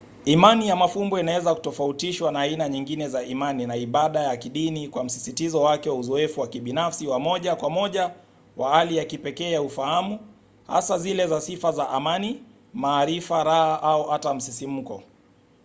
imani ya mafumbo inaweza kutofautishwa na aina nyingine za imani na ibada ya kidini kwa msisitizo wake wa uzoefu wa kibinafsi wa moja kwa moja wa hali ya kipekee ya ufahamu hasa zile za sifa za amani maarifa raha au hata msisimko